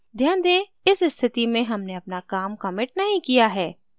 ध्यान दें इस स्थिति में हमने अपना काम कमिट नहीं किया है